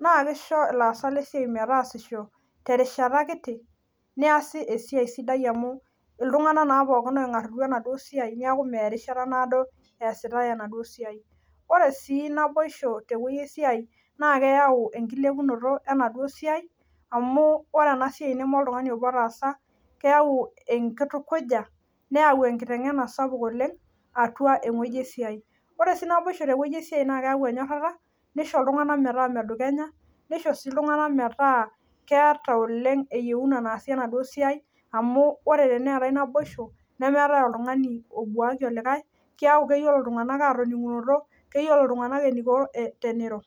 naakeisho ilaasak lesiai metaasisho terishata kiti neasi esiai sidai amu iltung'anak naa pookin oing'arrutua enaduo siai neaku meya erishata naaso easitai enaduo siai. Ore sii naboisho tewuei esiai naa keyau enkilepunoto enaduo siai amu ore enasiai neme oltung'ani otaasa keyau enkitukuja neyau enkiteng'ena sapuk oleng' atua ewueji esiai. Ore sii naboisho tewuei esiai naakeyau enyorrata, neisho iltung'anak metaa medukenya, neisho sii iltung'ana metaa keata oleng' eyeuna naasie enaduo siai amu ore teneetai naboisho nemeetai oltung'ani obuaki olikae, keyau keyiolo iltung'anak atoning'unoto, keyiolo iltung'anak eneiko teneiro.